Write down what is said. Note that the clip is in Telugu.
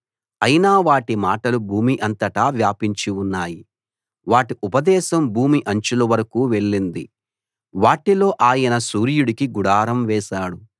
అయినా వాటి మాటలు భూమి అంతటా వ్యాపించి ఉన్నాయి వాటి ఉపదేశం భూమి అంచుల వరకూ వెళ్ళింది వాటిలో ఆయన సూర్యుడికి గుడారం వేశాడు